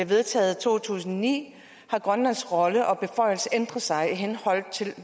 vedtaget i to tusind og ni har grønlands rolle og beføjelse ændret sig i henhold til